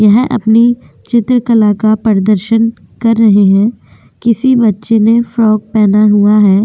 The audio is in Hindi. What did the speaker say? यह अपने चित्र कला का प्रदर्शन कर रहे हैं। किसी बच्चे ने फ्राक पहना हुआ है।